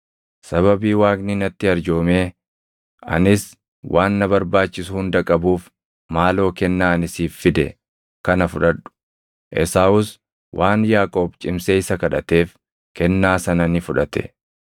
Sababii Waaqni natti arjoomee anis waan na barbaachisu hunda qabuuf maaloo kennaa ani siif fide kana fudhadhu.” Esaawus waan Yaaqoob cimsee isa kadhateef kennaa sana ni fudhate.